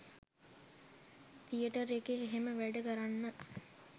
theatre එකේ එහෙම වැඩ කරන්න